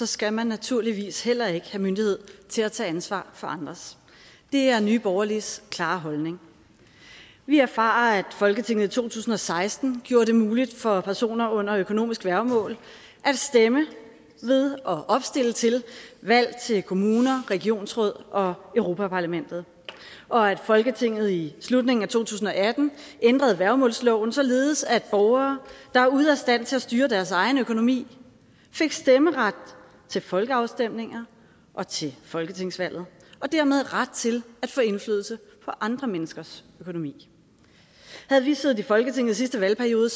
skal man naturligvis heller ikke have myndighed til at tage ansvar for andres det er nye borgerliges klare holdning vi erfarer at folketinget i to tusind og seksten gjorde det muligt for personer under økonomisk værgemål at stemme ved og opstille til valg til kommuner regionsråd og europaparlamentet og at folketinget i slutningen af to tusind og atten ændrede værgemålsloven således at borgere der er ude af stand til at styre deres egen økonomi fik stemmeret til folkeafstemninger og til folketingsvalget og dermed ret til at få indflydelse på andre menneskers økonomi havde vi siddet i folketinget i sidste valgperiode